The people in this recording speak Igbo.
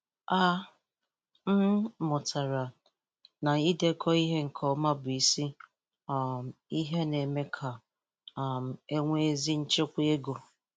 A um mụtara m na idekọ ihe nke ọma bụ isi um ihe na-eme ka um e nwee ezi nchịkwa ego.